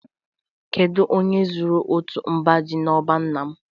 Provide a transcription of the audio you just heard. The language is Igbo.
Kedu onye zuru otu mba ji n'ọba nna m